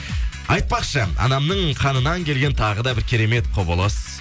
айтпақшы анамның қанынан келген тағы да бір керемет құбылыс